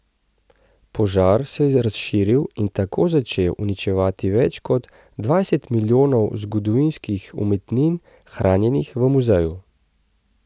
Požar se je razširil in tako začel uničevati več kot dvajset milijonov zgodovinskih umetnin hranjenih v muzeju.